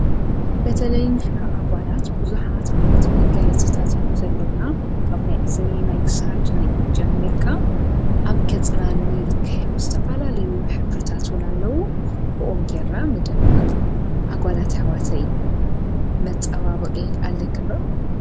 በተለይ ንሕና ኣጓላት ብዙኃት ዓይነት መጊይት ጽታት ዮም ዘለዉና ካብ ናይ እዝኒ ናይክሳድ ናይእ ጀሚርካ ኣብ ገጽናኒ ልከዮም ስ ተፋላ ልዩ ኅብርታትና ኣለዉ ብኦንጌራ ንደምቕ ኣጓላት ኣኅዋተይ መጸዋበቕ ኣለክምበቕ።